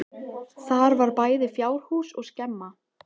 Þar var bæði fjárhús og skemma.